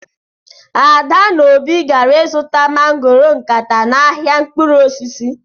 Ada na obi gara izuta mangoro nkata n'ahịa mkpụrụ osisi.